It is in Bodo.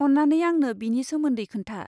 अन्नानै आंनो बेनि सोमोन्दै खोन्था।